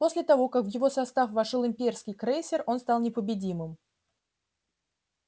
после того как в его состав вошёл имперский крейсер он стал непобедимым